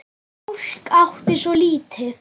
Fólk átti svo lítið.